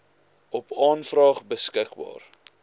op aanvraag beskikbaar